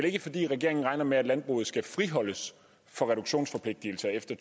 ikke fordi regeringen regner med at landbruget skal friholdes fra reduktionsforpligtelser efter